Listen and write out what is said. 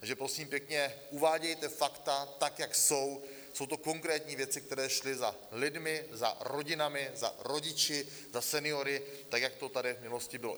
Takže, prosím pěkně, uvádějte fakta tak, jak jsou - jsou to konkrétní věci, které šly za lidmi, za rodinami, za rodiči, za seniory, tak jak to tady v minulosti bylo.